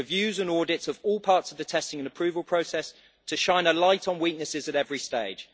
reviews and audits of all parts of the testing and approval process, to shine a light on weaknesses at every stage.